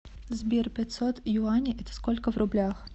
сбер пятьсот юаней это сколько в рублях